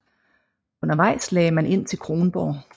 Undervejs lagde man ind til Kronborg